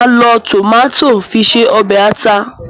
Màá lo tòmátò fi se ọ̀bẹ̀ ata.